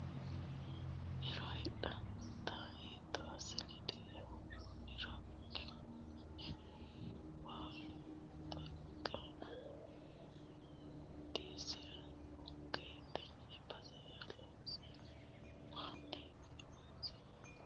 Hiro hidhinannitta hiitto assine dirre woroniro laihu baallu xagge diassiranokka tene basera loossano manni horamessaho yaa dandeemmo korkaatuno dureemate jawa injo no daafira.